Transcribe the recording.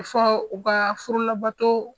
A fɔ u ka furulabato